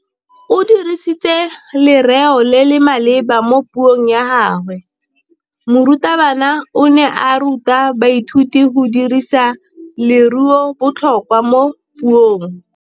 O dirisitse lerêo le le maleba mo puông ya gagwe. Morutabana o ne a ruta baithuti go dirisa lêrêôbotlhôkwa mo puong.